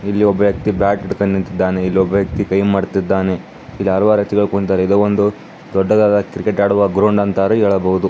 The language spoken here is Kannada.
ಇಲಿ ಒಬ್ಬ ವ್ಯಕ್ತಿ ಬ್ಯಾಟ್ ಹಿಡ್ಕೊಂಡು ನಿಂತಿದ್ದಾನೆ ಒಬ್ಬ ಕೈಮಾಡಿಸಿದ್ದಾನೆ ಇದು ದೊಡ್ಡದಾದ ಕ್ರಿಕೆಟ್ ಗ್ರೌಂಡ್ ಅಂತಾನೆ ಹೇಳಬಹುದು.